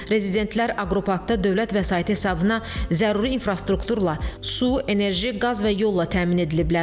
Rezidentlər aqroparkda dövlət vəsaiti hesabına zəruri infrastrukturla, su, enerji, qaz və yolla təmin ediliblər.